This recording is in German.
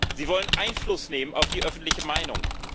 Sie wollen Einfluss nehmen auf die öffentliche Meinung.